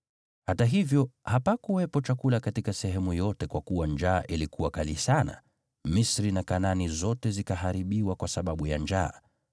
Hata hivyo, hapakuwepo chakula katika sehemu yote kwa kuwa njaa ilikuwa kali sana; Misri na Kanaani zote zikaharibiwa kwa sababu ya njaa.